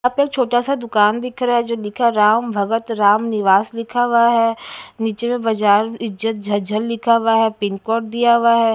यहां पे छोटा सा दुकान दिख रहा है जो लिखा है राम भगत राम निवास लिखा हुआ है नीचे बजार इज्जत झज्जर लिखा हुआ है पिन कोड दिया हुआ है।